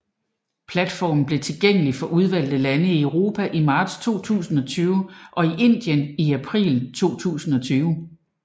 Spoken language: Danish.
Platformen blev tilgængelig for udvalgte lande i Europa i marts 2020 og i Indien i april 2020